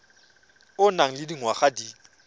o nang le dingwaga di